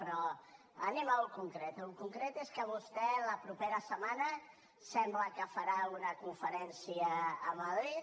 però anem a allò concret allò concret és que vostè la propera setmana sembla que farà una conferència a madrid